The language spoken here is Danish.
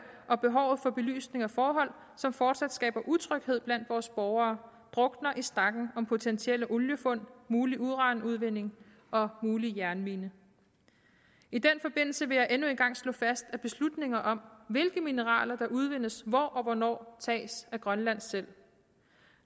og behovet for belysning af forhold som fortsat skaber utryghed blandt vores borgere drukner i stakken der om potentielle oliefund mulig uranudvinding og mulig jernmine i den forbindelse vil jeg endnu en gang slå fast at beslutninger om hvilke mineraler der udvindes hvor og hvornår tages af grønland selv